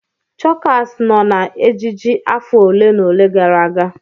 Chokas nọ na ejiji afọ ole na ole gara aga.